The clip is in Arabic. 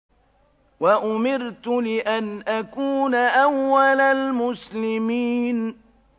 وَأُمِرْتُ لِأَنْ أَكُونَ أَوَّلَ الْمُسْلِمِينَ